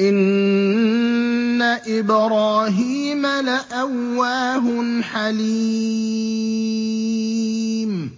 إِنَّ إِبْرَاهِيمَ لَأَوَّاهٌ حَلِيمٌ